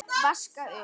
Vaska upp?